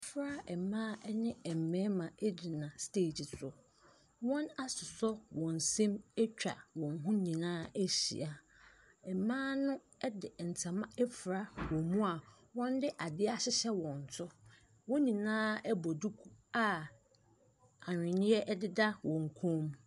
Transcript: Mmɔfra mmaa ne mmarima gyina stage so. Wɔasosɔ wɔn nsam atwa wɔn ho nyina ahyia. Mmaa no de ntoma afira wɔn mu a wɔde adeɛ ahyehyɛ wɔn to. Wɔn nyinaa bɔ duku a ahweneɛ deda wɔn kɔn mu.